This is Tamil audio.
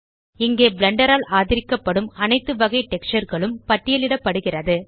இங்கே பிளெண்டர் ஆல் ஆதரிக்கப்படும் அனைத்து வகை டெக்ஸ்சர் களும் பட்டியலிடப்படுகிறது